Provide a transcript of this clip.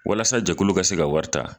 Walasajɛkulu ka se ka wari ta